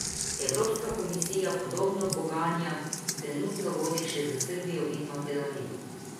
Evropska komisija podobna pogajanja trenutno vodi še s Srbijo in Makedonijo.